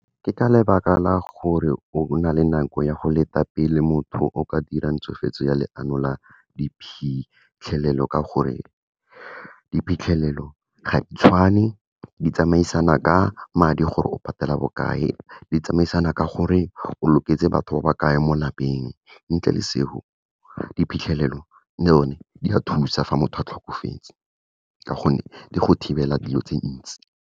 Ke ka lebaka la gore o bo na le nako ya go leta pele motho o ka dirang tshofetso ya leano la diphitlhelelo ka gore, diphitlhelelo ga di tshwane, di tsamaisana ka madi gore o patela bokae, di tsamaisana ka gore o loketse batho ba ba kae mo lapeng. Ntle le seo, diphitlhelelo le one, di a thusa fa motho a tlhokofetse, ka gonne di go thibela dilo tse ntsi.